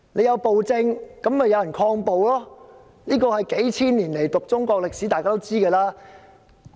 有暴政便有人抗暴，這是讀中國數千年歷史便知道的事。